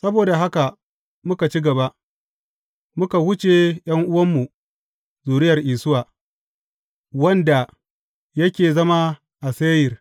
Saboda haka muka ci gaba, muka wuce ’yan’uwanmu, zuriyar Isuwa, wanda yake zama a Seyir.